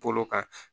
Bolo kan